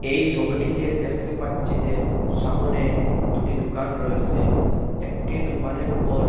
এই ছবিটিতে দেখতে পাচ্ছি যে সামোনে দুটি দুকান রয়েসে একটি দুকানের উপর--